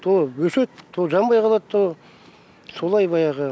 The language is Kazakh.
то өседі то жанбай қалады то солай баяғы